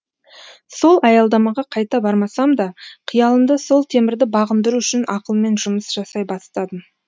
сол аялдамаға қайта бармасам да қиялымда сол темірді бағындыру үшін ақылмен жұмыс жасай бастадым